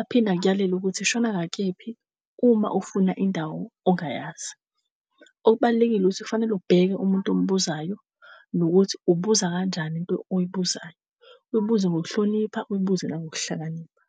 Aphinde akuyalele ukuthi shona ngakephi uma ufuna indawo ongayazi. Okubalulekile ukuthi kufanele ubheke umuntu ombuzayo nokuthi ubuza kanjani into oyibuzayo. Uyibuze ngokuhlonipha, uyibuze nangokuhlakanipha.